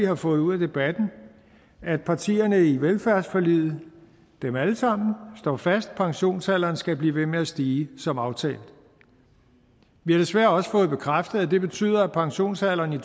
har fået ud af debatten er at partierne i velfærdsforliget dem alle sammen står fast pensionsalderen skal blive ved med at stige som aftalt vi har desværre også fået bekræftet at det betyder at pensionsalderen i